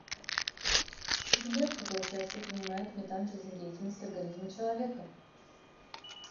сбер какое участие принимает метан в жизнедеятельности организма человека